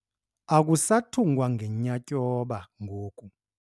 Akusathungwa ngenyatyhoba ngoku.